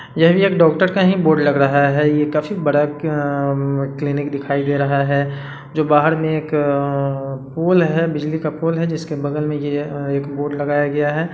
ये भी एक डॉक्टर का ही बोर्ड लग रहा हैं ये काफी बड़ा क्लीनिक दिखाय दे रहा हैं जो बाहर में एक पोल है बिजली का पोल है जिसके बगल में ये बोर्ड लगाया गया हैं।